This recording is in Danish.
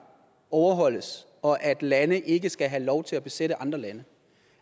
overholdes og at lande ikke skal have lov til at besætte andre lande